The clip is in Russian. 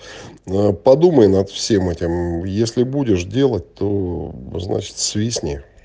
ээ подумай над всем этим если будешь делать то значит свистни